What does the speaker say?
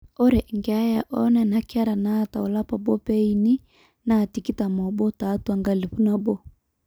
ore keeya oonena kera naata olapa obo pee eini naa 21 tiatwa 1000